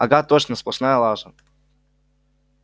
ага точно сплошная лажа